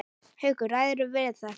Haukur: Ræðirðu við þetta?